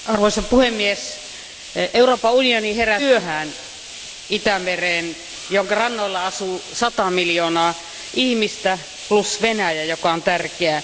Arvoisa puhemies, Euroopan unioni heräsi aika myöhään Itämereen, jonka rannoilla asuu 100 miljoonaa ihmistä plus Venäjä, joka on tärkeä.